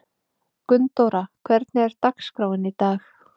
Gunndóra, hvernig er dagskráin í dag?